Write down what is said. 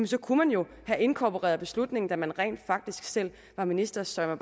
så kunne man jo have inkorporeret beslutningen da man rent faktisk selv var minister så jeg